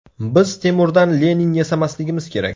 Biz Temurdan Lenin yasamasligimiz kerak.